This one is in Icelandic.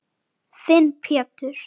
Þinn Pétur.